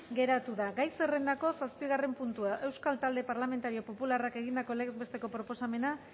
geratu da gai zerrendako zazpigarren puntua euskal talde parlamentario popularrak egindako legez besteko proposamena